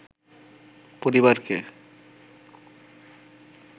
পরিবারকে